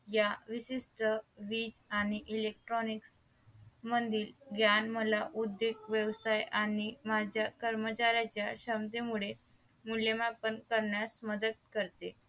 या विशिष्ट वीज आणि electric मध्ये ज्ञान मला उद्योग व्यवसाय आणि माझ्या कर्मचाऱ्याच्या क्षमते मुळे मूल्य मापन करण्यास मदत करते